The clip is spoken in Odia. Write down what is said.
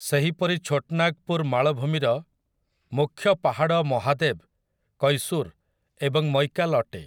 ସେହିପରି ଛୋଟ୍‌ ନାଗପୁର ମାଳଭୂମିର ମୁଖ୍ୟ ପାହାଡ଼ ମହାଦେବ୍, କୈସୁର୍ ଏବଂ ମୈକାଲ୍ ଅଟେ ।